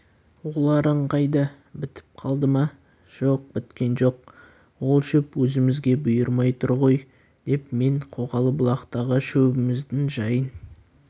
оларың қайда бітіп қалды ма жоқ біткен жоқ ол шөп өзімізге бұйырмай тұр ғой деп мен қоғалы бұлақтағы шөбіміздің жайын